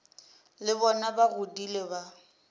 le bona ba godile ba